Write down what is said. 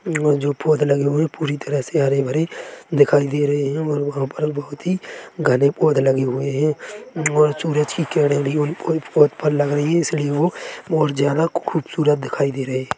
यह जो पौध लगे हुए पूरी तरह से हरे भरे दिखाई दे रहे हैं और वहाँ पर बहोत ही घने पौध लगे हुए हैं और सूरज की किरने भी कोई पौध पर लग रहीं हैं इसलिए वह और ज्यादा खूबसूरत दिखाई दे रही है।